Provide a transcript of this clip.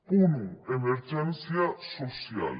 punt un emergència social